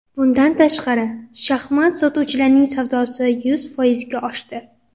Bundan tashqari, shaxmat sotuvchilarining savdosi yuz foizga oshdi.